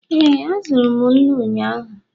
ee, azụrụ m nnu ụnyahụ